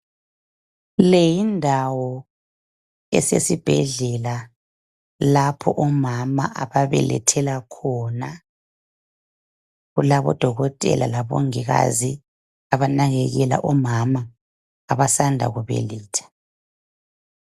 Le yindawo esesibhedlela lapho omama abelethela khona kulabo Dokotela labongikazi abanakekela omama abasanda kubeletha.